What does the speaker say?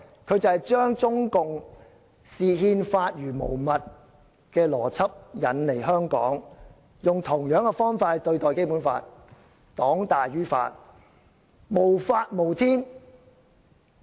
他們把中共視憲法如無物的邏輯引入香港，用同樣的方法來對待《基本法》，是黨大於法，無法無天。